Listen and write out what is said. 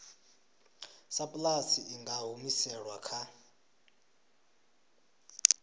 sapulasi i nga humiselwa kha